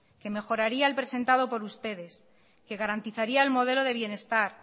que mejoraría el presentado por ustedes que garantizaría el modelo de bienestar